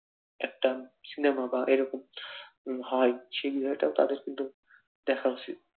একটা সিনেমা বা এরকম হয়, সেই জায়গাটাও তাদের কিন্তু দেখা উচিত